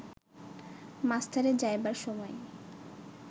মাস্টারের যাইবার সময়ে